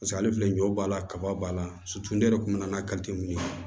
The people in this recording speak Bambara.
Paseke ale filɛ ɲɔ b'a la kaba b'a la ne yɛrɛ kun mɛn na n'a ye